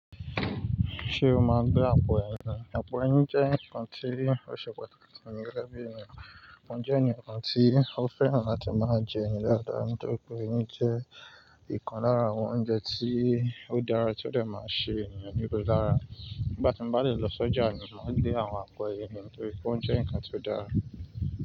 Ṣé o máa n gbé àpò ẹyin? Àpò ẹyin jẹ́ nǹkan tí ó ṣe pàtàkì fún mi gege bi ènìyàn. Mo jẹ́ eniyan kan tí ó fẹ́ràn láti máa jẹ ẹyi dáadáa nítorí pé ẹyin jẹ́ ìkan lára àwọn oúnjẹ tí ó dára tí ó dẹ̀ máa ṣe ènìyàn níre lára. Nígbà tí mbá de lè lọ sọ́jà, mo máa gbé àwọn àpò ẹyin nítorí pé ó jẹ́ ǹnkan tí ó dáa.